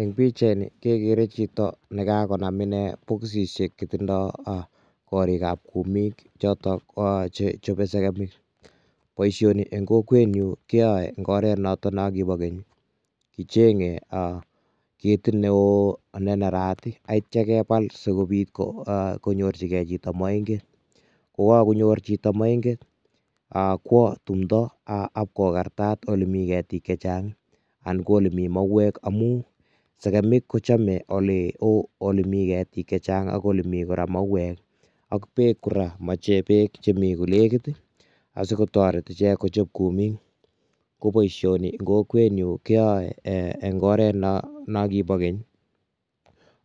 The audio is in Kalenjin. Eng pichaini kegere chito nekagonam inne bokisisiek che tindo korikab kumik choto koyache chobe segemik. Boisioni eng kokwenyu keyoe eng oret noto no kiba keny. Kichenge ketit neo noto ne nerat ii, ak kitya kepal sigopit konyorchige chito moinget. Kokagonyor chito moinget, kwo tumndo akwokogartat eng olemi ketik che chang anan ko olemi mauwek amu segemik kochome olemi ketik che chang ak olemi kora mauwek ak beek kora. Moche beek che mi konegit, asigotoret ichek kochop komik. Ko boisioni eng kokwenyu koyoe engoret no kiba keny